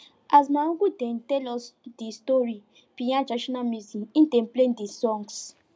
as my uncle dey tell us di story behind traditional music him dey play di songs